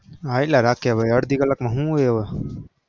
હાયલા રાખે ભાઈ અડધી કલાકમાં શું હોય હવે?